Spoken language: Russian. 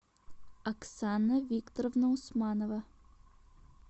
оксана викторовна усманова